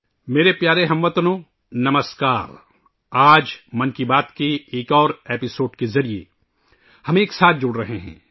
نئی دلّی ،30 جنوری / میرے پیارے ہم وطنو ، نمسکار ! آج ' من کی بات ' کے ایک اور ایپیسوڈ کے ذریعے ہم ایک ساتھ جڑ رہے ہیں